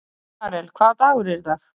Karel, hvaða dagur er í dag?